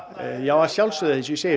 að sjálfsögðu eins og ég segi